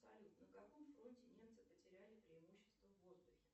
салют на каком фронте немцы потеряли преимущество в воздухе